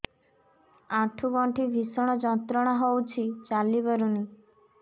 ଆଣ୍ଠୁ ଗଣ୍ଠି ଭିଷଣ ଯନ୍ତ୍ରଣା ହଉଛି ଚାଲି ପାରୁନି